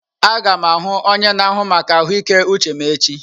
Aga m ahụ onye na-ahụ maka ahụike uche m echi.